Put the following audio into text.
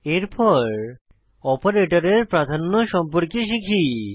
এরপর অপারেটরের প্রাধান্য সম্পর্কে শিখি